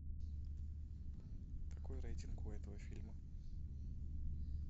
какой рейтинг у этого фильма